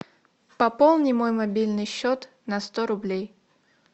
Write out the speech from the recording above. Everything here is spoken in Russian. пополни мой мобильный счет на сто рублей